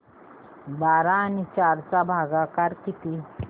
बारा आणि चार चा भागाकर किती